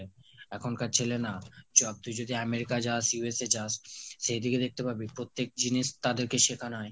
এখন কার ছেলে না ধর তুই যদি America যাস USA যাস সেদিকে দেখতে পারবি প্রত্যেক জিনিস তাদেরকে শিখানো হয়